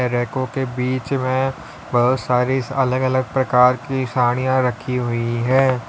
रेको के बीच में बहुत सारी अलग अलग प्रकार की साड़ियां रखी हुई है।